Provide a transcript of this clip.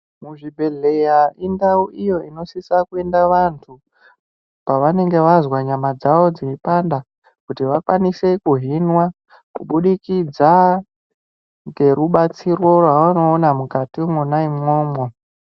Muzvibhedhlera indau iyo inosisa kuenda vantu pavanenge vazwa nyama dzawo dzeipanda kuti vakwanise kuhinwa kubudikidza ngerubatsiro rwavanoona mukati mwona imwomwo.